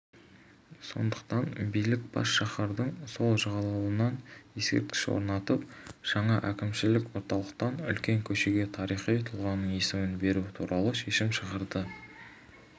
сондықтан билік бас шаһардың сол жағалауынан ескерткіш орнатып жаңа әкімшілік орталықтан үлкен көшеге тарихи тұлғаның есімін беру туралы шешім шығарды